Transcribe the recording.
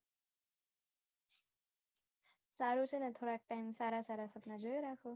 સારું છે ને થોડોક time સારા સારા સપના જોયે રાખો